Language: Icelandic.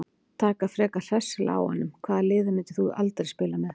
Taka frekar hressilega á honum Hvaða liði myndir þú aldrei spila með?